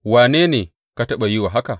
Wane ne ka taɓa yi wa haka?